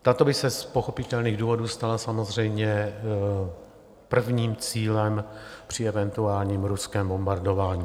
Tato by se z pochopitelných důvodů stala samozřejmě prvním cílem při eventuálním ruském bombardování.